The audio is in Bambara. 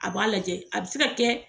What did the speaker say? A b'a lajɛ a bɛ se ka kɛ